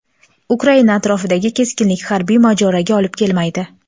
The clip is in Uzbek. Ukraina atrofidagi keskinlik harbiy mojaroga olib kelmaydi.